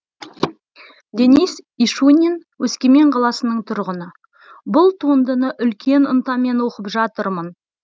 денис ишунин өскемен қаласының тұрғыны бұл туындыны үлкен ынтамен оқып жатырмын